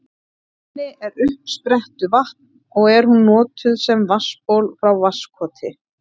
Í henni er uppsprettuvatn og er hún notuð sem vatnsból frá Vatnskoti.